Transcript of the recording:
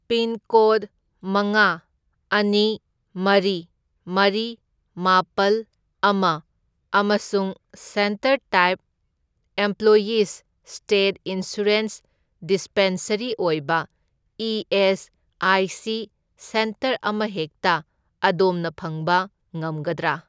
Pincode ꯃꯉꯥ, ꯑꯅꯤ, ꯃꯔꯤ, ꯃꯔꯤ, ꯃꯥꯄꯜ, ꯑꯃ ꯑꯃꯁꯨꯡ centre type employees'' state insurance dispensary ꯑꯣꯏꯕ ꯏ.ꯑꯦꯁ.ꯑꯥꯏ.ꯁꯤ. ꯁꯦꯟꯇꯔ ꯑꯃꯍꯦꯛꯇ ꯑꯗꯣꯝꯅ ꯐꯪꯕ ꯉꯝꯒꯗ꯭ꯔꯥ?